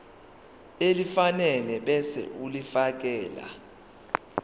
elifanele ebese ulifiakela